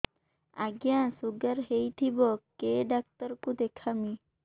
ଆଜ୍ଞା ଶୁଗାର ହେଇଥିବ କେ ଡାକ୍ତର କୁ ଦେଖାମି